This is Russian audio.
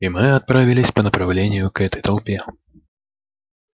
и мы отправились по направлению к этой толпе